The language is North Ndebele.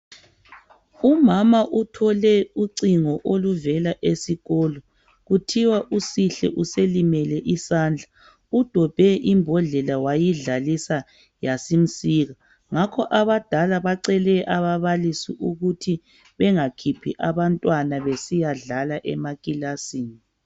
Umama uthole ucingo oluvela esikolo kuthiwa uSihle uselimele isandla udobhe ibhodlela wayidlalisa yasimsika ngakho abadala bacele ababalisi ukuthi bengakhiphi abantwana besiyadlala emakilasini